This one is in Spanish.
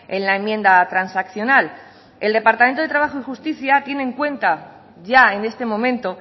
en la enmienda transaccional el departamento de trabajo y justicia tiene en cuenta ya en este momento